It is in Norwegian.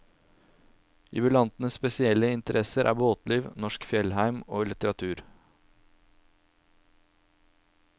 Jubilantens spesielle interesser er båtliv, norsk fjellheim og litteratur.